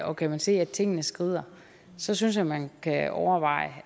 og kan man se at tingene skrider så synes jeg man kan overveje